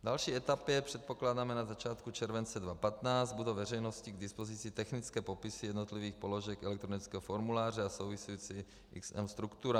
V další etapě, předpokládáme na začátku července 2015, budou veřejnosti k dispozici technické popisy jednotlivých položek elektronického formuláře a související XM struktura.